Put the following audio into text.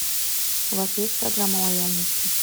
у вас есть программа лояльности